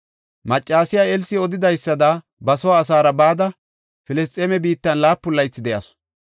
Maccasiya Elsi odidaysada ba soo asaara bada, Filisxeeme biittan laapun laythi de7asu.